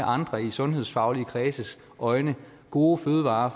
sundhedsfaglige kredses øjne gode fødevarer